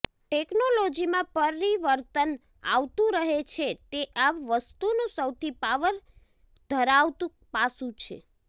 ટેક્નોલોજીમાં પરિવર્તન આવતું રહે છે તે આ વસ્તુનું સૌથી પાવર ધરાવતું પાસું છે